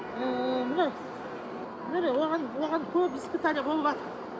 ііі міне міне оған оған көп испытание болыватыр